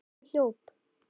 Hann hljóp.